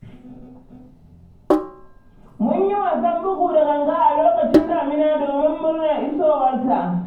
Mun yi wasan bugu da ganga a lokacin damina don murnar isowarta.